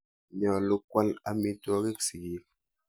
Nyalu kwal aitwogik sigik.